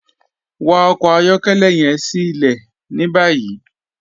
Wa ọkọ ayọkẹlẹ yẹn sí ilẹ̀ ní báyì.